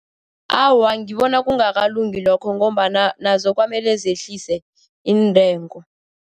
Awa, ngibona kungakalungi lokho ngombana nazo kwamele zehliswe iintengo.